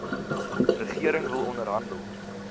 regering wil onderhandel